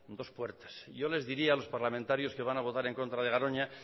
dos puertas yo les diría a los parlamentarios que van a votar en contra de garoña